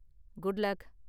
Good luck!